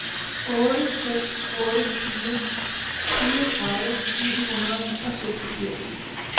otte seks otte fire fireogtredive ni hundrede og seksogfirs